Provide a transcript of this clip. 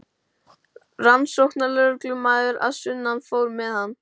Rannsóknarlögreglumaðurinn að sunnan fór með hann.